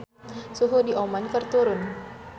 Suhu di Oman keur turun